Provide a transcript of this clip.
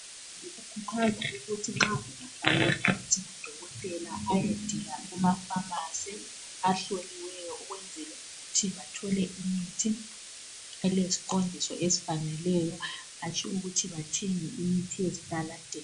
Kuqakathekile ukuthi nxa ungabhalelwa umuthi ngudokotela ayedinga kumafamasi ahloliweyo ukwezela ukuthi athole imithi eleziqondiso ezifaneleyo hatshi ukuthi bathenge imithi yezitaladeni.